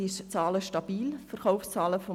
Seit 2011 sind die Verkaufszahlen stabil.